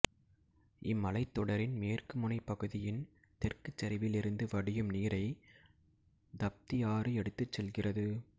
இம் மலைத்தொடரின் மேற்கு முனைப் பகுதியின் தெற்குச் சரிவிலிருந்து வடியும் நீரை தப்தி ஆறு எடுத்துச் செல்கிறது